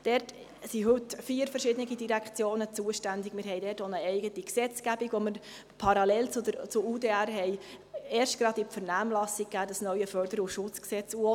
Dort sind heute vier verschiedene Direktionen zuständig, und wir haben dort auch erst gerade – parallel zu UDR – eine eigene Gesetzgebung in die Vernehmlassung gegeben: das neue Förder- und Schutzgesetz (FSG).